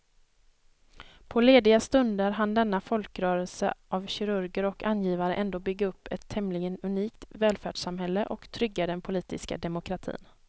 På lediga stunder hann denna folkrörelse av kirurger och angivare ändå bygga upp ett tämligen unikt välfärdssamhälle och trygga den politiska demokratin.